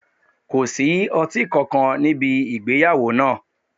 Ko sí ọti kankan nibi igbeyawo naa